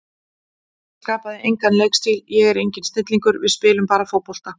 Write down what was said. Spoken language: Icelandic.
Ég skapaði engan leikstíl, ég er enginn snillingur, við spilum bara fótbolta.